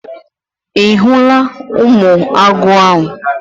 Ị hụla ụmụ agụ ahụ?